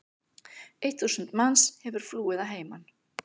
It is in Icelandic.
Eitt þúsund manns hefur flúið að heiman.